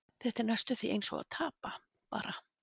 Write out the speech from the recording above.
Þetta er næstum því eins og að tapa, bara.